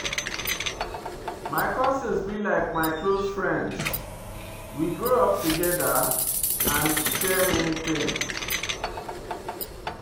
My cousin be like my close friend, we grow up togeda and share many tins.